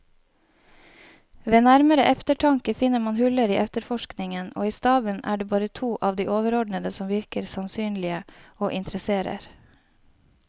Ved nærmere eftertanke finner man huller i efterforskningen, og i staben er det bare to av de overordnede som virker sannsynlige og interesserer.